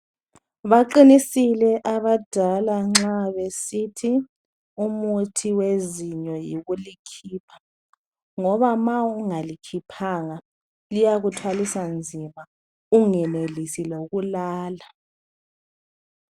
Baqinisile abadala nxa besithi umuthi wezinyo yikulikhipha ngoba ma ungalikhiphanga liyakuthwalisa nzima ungenelisi lokulala